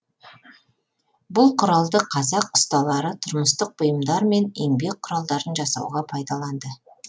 бұл құралды қазақ ұсталары тұрмыстық бұйымдар мен еңбек кұралдарын жасауға пайдаланды